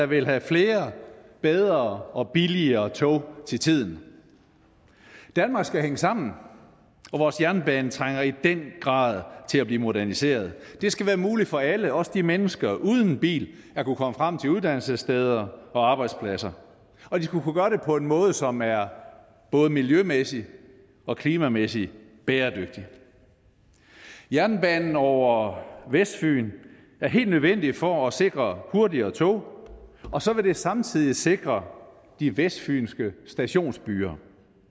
vil have flere bedre og billigere tog til tiden danmark skal hænge sammen og vores jernbane trænger i den grad til at blive moderniseret det skal være muligt for alle også mennesker uden bil at kunne komme frem til uddannelsessteder og arbejdspladser og de skal kunne gøre det på en måde som er både miljømæssigt og klimamæssigt bæredygtig jernbanen over vestfyn er helt nødvendig for at sikre hurtigere tog og så vil det samtidig sikre de vestfynske stationsbyer